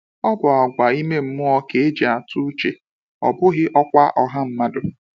Ọ bụ àgwà ime mmụọ ka e ji atụ uche, ọ bụghị ọkwa ọha mmadụ.